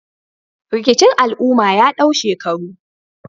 Rikicin al'umma ya dau shekaru